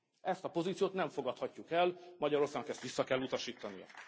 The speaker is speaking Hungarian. Ezt a pozíciót nem fogadhatjuk el, Magyarországnak ezt vissza kell utasítania.